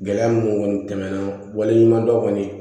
Gɛlɛya mun kɔni tɛmɛna wale ɲumandɔn kɔni